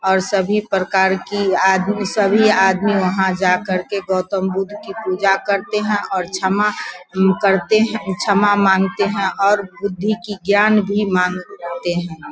और सभी प्रकार की आदमी सभी आदमी वहाँ जा कर के गौतम बुद्ध की पूजा करते है और छमा हम्म करते है छमा मांगते है और बुद्धि की ज्ञान भी मांग ते है।